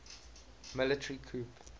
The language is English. military coup